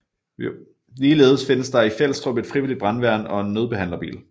Ligeledes findes der i Fjelstrup et frivilligt brandværn og en nødbehandlerbil